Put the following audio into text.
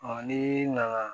ni nana